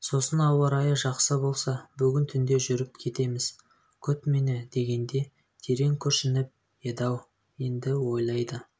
сосын ауа-райы жақсы болса бүгін түнде жүріп кетеміз күт мені дегенде терең күрсініп еді-ау енді ойлайды